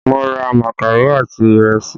Mo ra makaro àti ìrẹsì